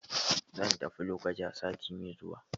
Zan tafi Lokoja sati mai zuwa.